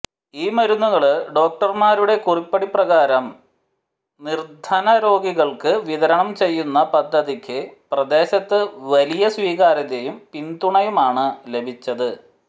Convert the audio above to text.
ഈ മരുന്നുകള് ഡോക്ടര്മാരുടെ കുറിപ്പടി പ്രകാരം നിര്ധന രോഗികള്ക്ക് വിതരണം ചെയ്യുന്ന പദ്ധതിക്ക് പ്രദേശത്ത് വലിയ സ്വീകാര്യതയും പിന്തുണയുമാണ് ലഭിച്ചത്